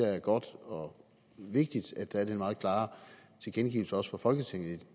er godt og vigtigt at der er den meget klare tilkendegivelse også fra folketingets